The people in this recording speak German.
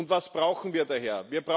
Was brauchen wir daher?